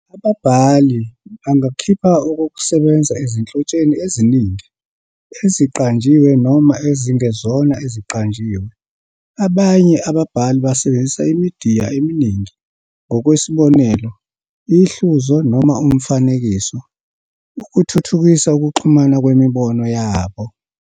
Ababhali bangakhipha okokusebenza ezinhlotsheni eziningi, eziqanjiwe noma ezingezona eziqanjiwe. Abanye ababhali basebenzisa imidiya eminingi - ngokwesibonelo, ihluzo noma umfanekiso - ukuthuthukisa ukuxhumana kwemibono yabo.